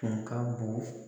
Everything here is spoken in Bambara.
Tun ka bon